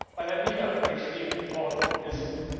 weil er niedergeschrieen worden ist.